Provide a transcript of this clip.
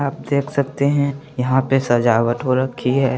आप देख सकते हैं यहाँ पे सजावट हो रखी है।